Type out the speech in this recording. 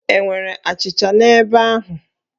E nwere achịcha n'ebe ahụ?